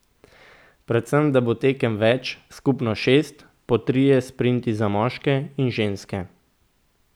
Predvsem bo tekem več, skupno šest, po trije sprinti za moške in ženske.